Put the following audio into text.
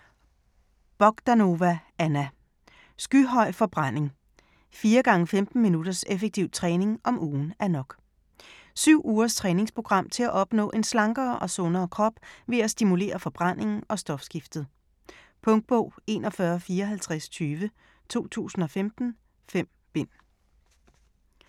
Bogdanova, Anna: Skyhøj forbrænding: 4×15 minutters effektiv træning om ugen er nok Syv ugers træningsprogram til at opnå en slankere og sundere krop ved at stimulere forbrændingen og stofskiftet. Punktbog 415420 2015. 5 bind.